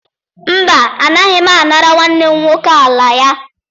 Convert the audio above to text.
Mba, agaghị m anara nwanne m nwoke ala ya